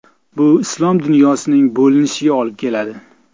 Bu islom dunyosining bo‘linishiga olib keladi.